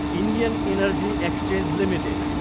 Indian energy exchange Ltd